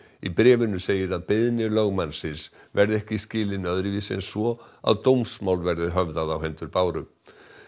í bréfinu segir að beiðni lögmannsins verði ekki skilin öðruvísi en svo að dómsmál verði höfðað á hendur Báru